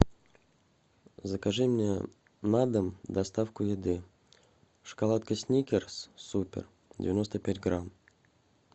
закажи мне на дом доставку еды шоколадка сникерс супер девяносто пять грамм